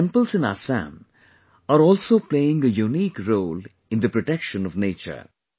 our temples in Assam are also playing a unique role in the protection of nature